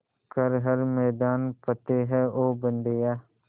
कर हर मैदान फ़तेह ओ बंदेया